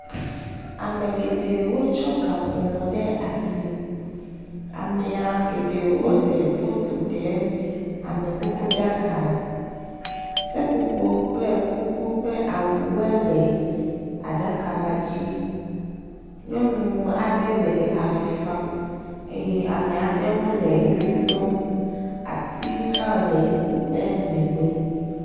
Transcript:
Ame geɖewo tsɔ kaƒomɔ ɖe asi. Amea geɖe wole foto ɖem amekukuɖaka. Seƒoƒo, awu kple kukuwoe le aɖaka la dzi. Nyɔnu aɖe le avi fam eye ame aɖewo le ʋli dom. Ati hã le woƒe megbe.